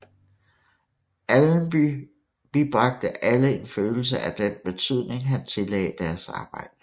Allenby bibragte alle en følelse af den betydning han tillagde deres arbejde